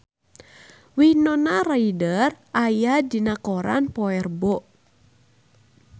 Winona Ryder aya dina koran poe Rebo